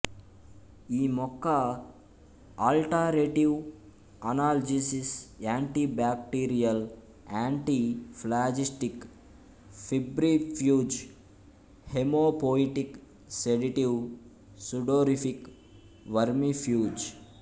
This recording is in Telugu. ఈ మొక్క alterative analgesic anti bacterial antiphlogistic febrifuge haemopoietic sedative sudorific vermifuge